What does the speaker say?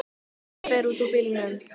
Hún fer út úr bílnum.